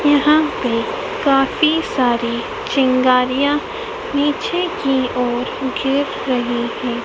यहां पे काफी सारी चिंगारियां नीचे की ओर गिर रही है।